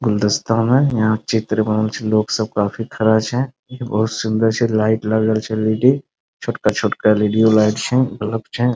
गुलदस्ता है यहाँ चित्र बनल छे लोग सब काफी खड़ा छे ये बहुत सुन्दर छे लाइट लगल छे एल.ई.डी. छोटका-छोटका एल.ई.डी. लाइट छे बल्ब छे।